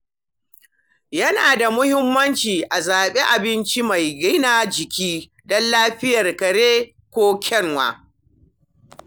Yana da muhimmanci a zaɓi abinci mai gina jiki don lafiyar kare ko kyanwa.